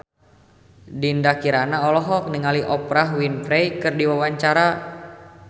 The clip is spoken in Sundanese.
Dinda Kirana olohok ningali Oprah Winfrey keur diwawancara